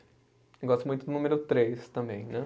Eu gosto muito do número três também, né?